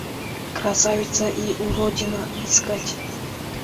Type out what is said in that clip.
красавица и уродина искать